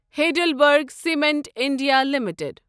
Heidelberg cement India limited